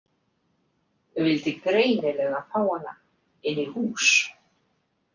Vildi greinilega fá hana inn í hús.